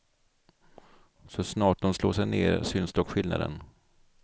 Så snart de slår sig ner syns dock skillnaden.